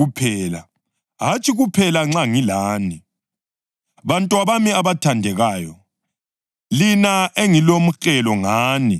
Bantwabami abathandekayo, lina engilomhelo ngani futhi uKhristu aze abunjwe phakathi kwenu,